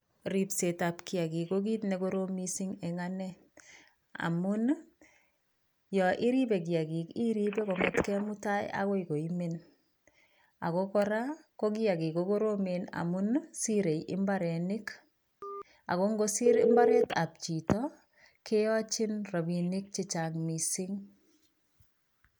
Ripsetab kiyakik ko kiit nekorom mising eng ane amun yon iripei kiyakik iripe kongetkei mutai akoi koimen ako kora ko kiyakik ko koromen amun sirei imbaronik, ako ngosir imbaaretab chito keyachin rapinik chechang mising.